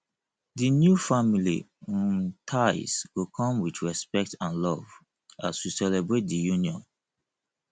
the new family um ties go come with respect and love as we celebrate di union